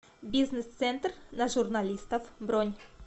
бизнес центр на журналистов бронь